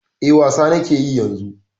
E, wasa na ke yi yanzu.